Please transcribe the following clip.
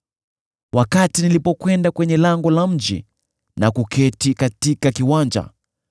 “Wakati nilipokwenda kwenye lango la mji na kuketi katika kiwanja,